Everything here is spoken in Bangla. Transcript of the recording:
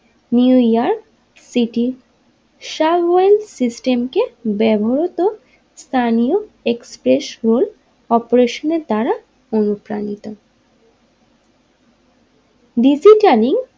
New York City subway system কে ব্যবহত স্থানীয় এক্সপ্রেস রোল অপেরেশনের দ্বারা অনুপ্রাণিত ডিসিটানিং।